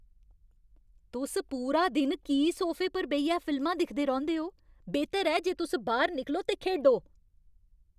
तुस पूरा दिन की सोफे पर बेहियै फिल्मां दिखदे रौंह्दे ओ? बेह्तर ऐ जे तुस बाह्‌र निकलो ते खेढो!